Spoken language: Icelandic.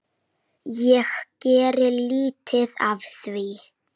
Ég geri lítið af því.